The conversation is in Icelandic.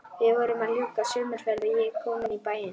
Við vorum að ljúka sumarferð og ég kominn í bæinn.